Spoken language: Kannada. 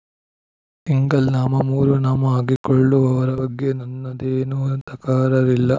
ಸಿಂಗಲ್ ನಾಮ ಮೂರು ನಾಮ ಹಾಕಿಕೊಳ್ಳುವವರ ಬಗ್ಗೆ ನನ್ನದೇನೂ ತಕರಾರಿಲ್ಲ